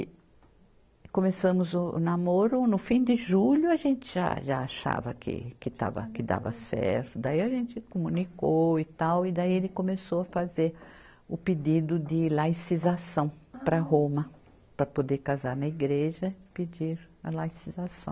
E, e começamos o namoro no fim de julho, a gente já, já achava que, que estava, que dava certo, daí a gente comunicou e tal, e daí ele começou a fazer o pedido de laicização para Roma, para poder casar na igreja, pedir a laicização.